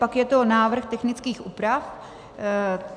Pak je tu návrh technických úprav.